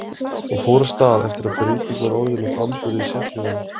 Hún fór af stað eftir að breyting var orðin á framburði sérhljóðanna.